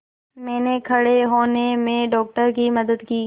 मैंने खड़े होने में डॉक्टर की मदद की